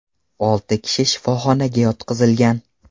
Olti kishi shifoxonaga yotqizilgan.